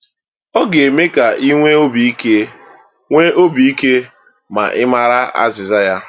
“ Ọ ga-eme ka i nwee obi ike nwee obi ike ma ị maara azịza ya.”